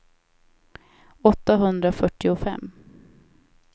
åttahundrafyrtiofem